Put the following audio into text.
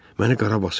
Məni qara basır.